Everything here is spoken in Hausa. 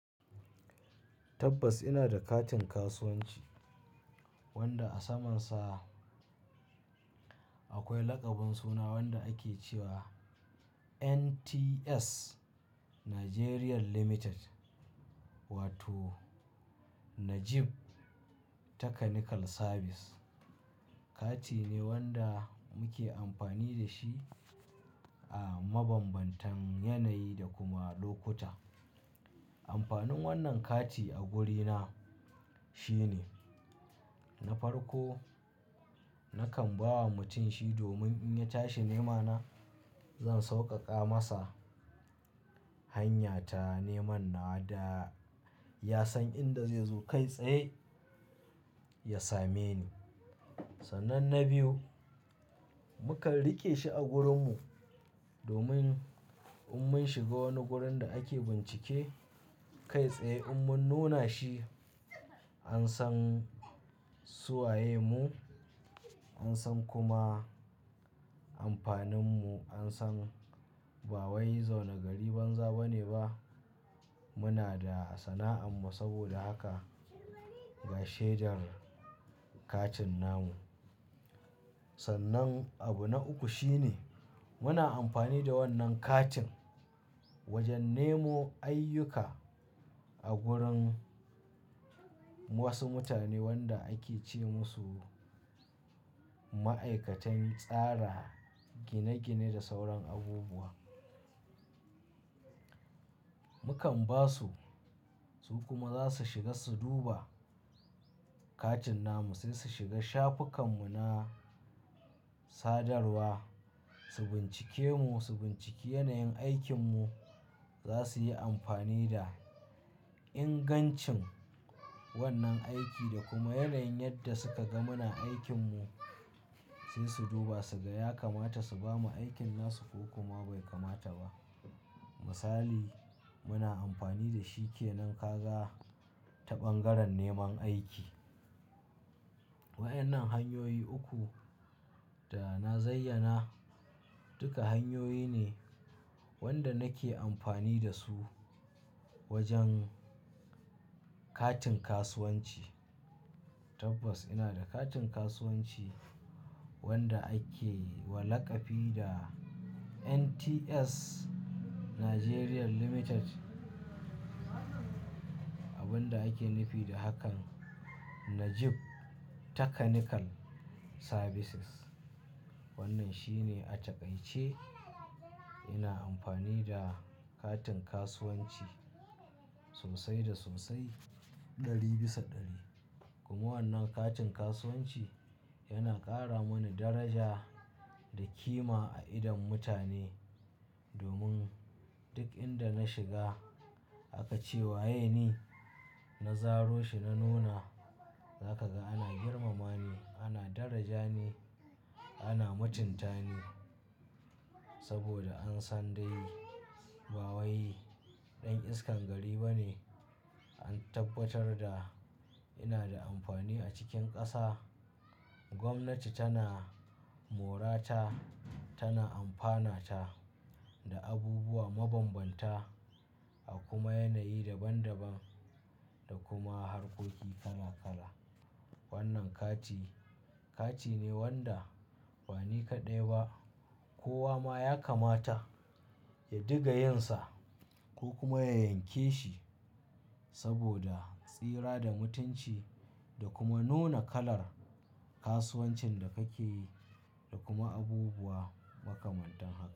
Tabbas ina da katin kasuwanci wanda a samansa akwai laƙabin suna wanda ake cewa NTS Nigeria Limited wato Najib Technical Services. Kati ne wanda muke amfani da shi a mabambantan yanayi da kuma lokuta. Amfanin wannan kati a wurina shine na farko nakan ba wa mutum shi domin in ya tashi nemana zan sauƙaƙa masa hanya ta neman na da ya san inda zai zo kai tsaye ya same ni. Sannan na biyu, muka riƙe shi a gurin mu domin in mun shiga wani wurin da ake bincike kai tsaye in mun nuna shi an san suwaye mu, an san kuma amfanin mu an san ba wai zaune gari banza bane ba. Muna da sana'an mu saboda haka ga shaidar katin namu. Sannan abu na uku shine muna amfani da wannan katin wajen nemo ayyuka a gurin wasu mutane wanda ake ce musu ma'aikatan tsara gine-gine da sauran abubuwa. Mukan ba su, su kuma za su shiga su duba katin namu sai su shiga shafukan mu na sadarwa, su bincike mu, su binciki yanayin aikin mu. Za su yi amfani da ingancin wannan aiki da kuma yanayin yadda suka ga muna aikin mu sai su duba, su ga ya kamata su bamu aikin na su ko kuma bai kamata ba. Misali muna amfani da shi ke nan kaza ta bangaren neman aiki. Waɗannan hanyoyi uku da na zayyana duka hanyoyi ne wanda nake amfani da su wajen katin kasuwanci. Tabbas ina da katin kasuwanci wanda ake wa laƙabi da NTS Nigeria Limited. Abun da ake nufi da haka Najib Technical Services. Wannan shine a ce ƙai ce ina amfani da katin kasuwanci sosai da sosai ɗari bisa ɗari. Kuma wannan katin kasuwanci yana ƙara mani daraja da kima a idon mutane domin duk inda na shiga aka ce wa "yeni na zaro shi na nuna za ka ga ana girmama ni, ana daraja ni, ana mutunta ni saboda an san dai ba wai ɗan iskan gari bane. An tabbatar da ina da amfani a cikin ƙasa. Gwamnati tana morata, tana amfanata da abubuwa mabanbanta a kuma yanayi daban daban da kuma harkoki kala kala. Wannan kati kati ne wanda bani kaɗai ba kowa ma ya kamata ya diga yin sa ko kuma ya yanke shi saboda tsira da mutunci da kuma nuna kalar kasuwancin da kake yi da kuma abubuwa makamantan haka.